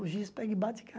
O giz pega e bate e cai.